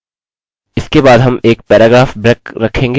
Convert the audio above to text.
अतः इतना ही अभी इसे करने की कोशिश करते हैं